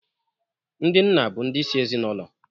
Ndị nna bụ ndi isi ezinaụlọ.